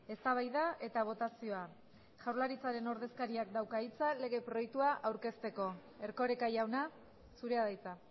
eztabaida eta botazioa jaurlaritzaren ordezkariak dauka hitza lege proiektua aurkezteko erkoreka jauna zurea da hitza